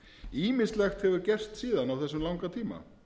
ýmislegt hefur gerst síðan á þessum langa tíma